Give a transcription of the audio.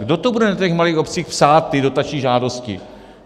Kdo to bude na těch malých obcích psát, ty dotační žádosti?